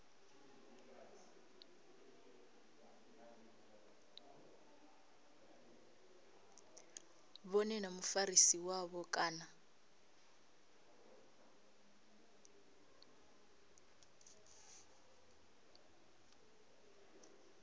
vhone na mufarisi wavho kana